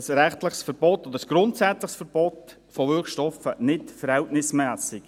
Deswegen ist ein rechtliches Verbot oder ein grundsätzliches Verbot von Wirkstoffen nicht verhältnismässig.